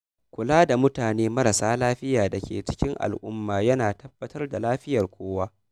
Kula da mutane marasa lafiya da ke cikin al’umma yana tabbatar da lafiyar kowa.